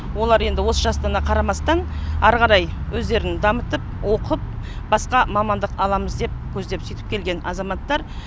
олар енді осы жастарына қарамастан ары қарай өздерін дамытып оқып басқа мамандық аламыз деп көздеп сөйтіп келген азаматтар